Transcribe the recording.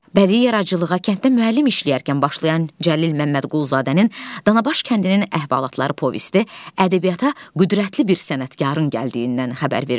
Bədii yaradıcılığa kənddə müəllim işləyərkən başlayan Cəlil Məmmədquluzadənin Danaqbaşkəndinin əhvalatları povesti ədəbiyyata qüvvətli bir sənətkarın gəldiyindən xəbər verirdi.